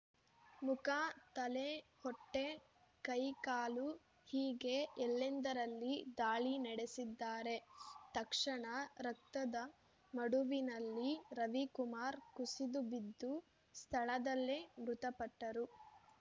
ಮುಖ ತಲೆ ಹೊಟ್ಟೆ ಕೈ ಕಾಲು ಹೀಗೆ ಎಲ್ಲೆಂದರಲ್ಲಿ ದಾಳಿ ನಡೆಸಿದ್ದಾರೆ ತಕ್ಷಣ ರಕ್ತದ ಮಡುವಿನಲ್ಲಿ ರವಿಕುಮಾರ್‌ ಕುಸಿದು ಬಿದ್ದು ಸ್ಥಳದಲ್ಲೇ ಮೃತಪಟ್ಟರು